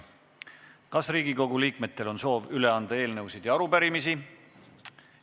Kas Riigikogu liikmetel on soovi üle anda eelnõusid ja arupärimisi?